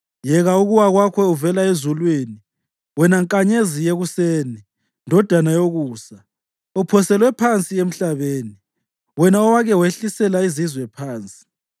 Yeka ukuwa kwakho uvela ezulwini, wena nkanyezi yekuseni, ndodana yokusa! Uphoselwe phansi emhlabeni, wena owake wehlisela izizwe phansi!